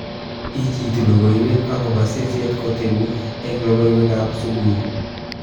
Ichitu logoiwek akobo seset kotebu eng logoiwekab subui